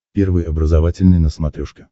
первый образовательный на смотрешке